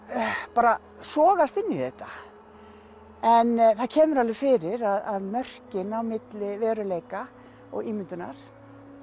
bara sogast inn í þetta en það kemur alveg fyrir að mörkin á milli veruleika og ímyndunar